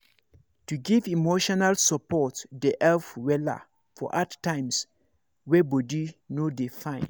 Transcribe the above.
to give emotional support dey help wella for hard times wey body no dey fine